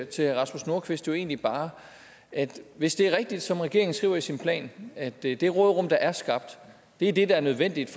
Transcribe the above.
til herre rasmus nordqvist egentlig bare hvis det er rigtigt som regeringen skriver i sin plan at det det råderum der er skabt er det der er nødvendigt